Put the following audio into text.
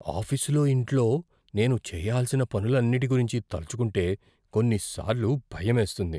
ఆఫీసులో, ఇంట్లో నేను చేయాల్సిన పనులన్నిటి గురించి తలచుకుంటే కొన్నిసార్లు భయమేస్తుంది.